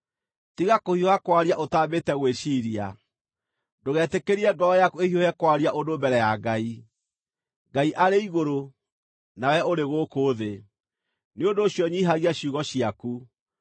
Tiga kũhiũha kwaria ũtambĩte gwĩciiria, ndũgetĩkĩrie ngoro yaku ĩhiũhe kwaria ũndũ mbere ya Ngai. Ngai arĩ igũrũ, nawe ũrĩ gũkũ thĩ, nĩ ũndũ ũcio nyiihagia ciugo ciaku.